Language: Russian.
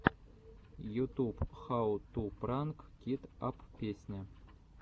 ютуб хау ту пранк кит ап песня